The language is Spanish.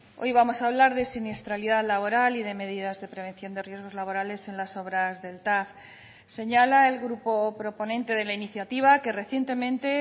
hoy vamos a hablar de siniestralidad laboral y de medidas de prevención de riesgos laborales en las obras del tav señala el grupo proponente de la iniciativa que recientemente